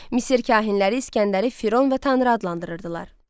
Misir kahinləri İsgəndəri firon və tanrı adlandırırdılar.